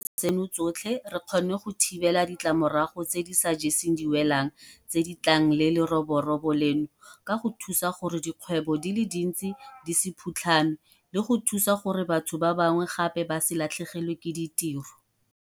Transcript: Tseno tsotlhe re kgonne go thibela ditlamorago tse di sa jeseng diwelang tse di tlang le leroborobo leno ka go thusa gore dikgwebo di le dintsi di se phutlhame le go thusa gore batho ba bangwe gape ba se latlhegelwe ke ditiro.